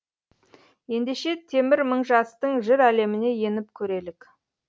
ендеше темір мыңжастың жыр әлеміне еніп көрелік